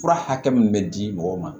Fura hakɛ min bɛ di mɔgɔw ma